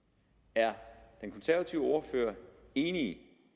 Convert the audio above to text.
er den konservative ordfører enig